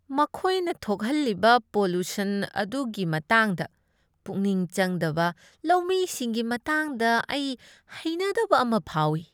ꯃꯈꯣꯏꯅ ꯊꯣꯛꯍꯜꯂꯤꯕ ꯄꯣꯂꯨꯁꯟ ꯑꯗꯨꯒꯤ ꯃꯇꯥꯡꯗ ꯄꯨꯛꯅꯤꯡ ꯆꯪꯗꯕ ꯂꯧꯃꯤꯁꯤꯡꯒꯤ ꯃꯇꯥꯡꯗ ꯑꯩ ꯍꯩꯅꯗꯕ ꯑꯃ ꯐꯥꯎꯏ ꯫